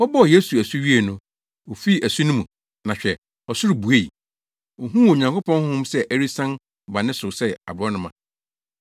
Wɔbɔɔ Yesu asu wiei no, ofii asu no mu, na hwɛ, ɔsoro buei. Ohuu Onyankopɔn Honhom sɛ ɛresian ba ne so sɛ aborɔnoma.